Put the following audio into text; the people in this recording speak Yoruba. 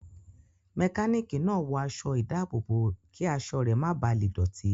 Mẹkánìkì náà wọ aṣọ ìdábòbò kí aṣọ rẹ ma bà le dọ̀tí